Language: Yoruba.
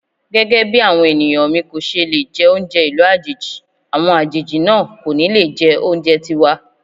Gẹ́gẹ́bí àwọn ènìyàn mi kòṣe lè jẹ oúnjẹ ìlú àjèjì, àwọn àjèjì náà kò ní le jẹ oúnjẹ tiwa.